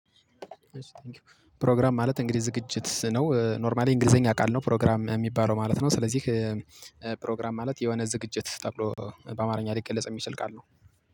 ፕሮግራም ማለት እንግዲህ ዝግጅት ነው ኖርማሊ እንግሊዘኛ አካል ነው ፕሮግራም የሚባለው ማለት ነው። ስለዚህ ፕሮግራም ማለት የሆነ ዝግጅት ተብሎ በአማርኛ ሊገለጽ የሚችል ቃል ነው።